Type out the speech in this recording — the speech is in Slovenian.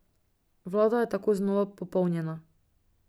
Vlada je tako znova popolnjena.